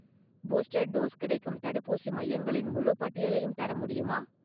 Booster dose கிடைக்கும் தடுப்பூசி மையங்களின் முழுப் பட்டியலையும் தர முடியுமா?